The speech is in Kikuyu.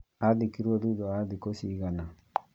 Athikirwo thutha wa thikũ cigana